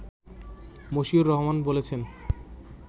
মশিউর রহমান বলছেন